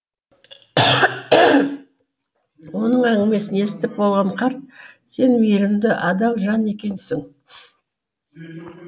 оның әңгімесін естіп болған қарт сен мейірімді адал жан екенсің